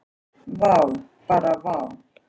Vá, bara vá.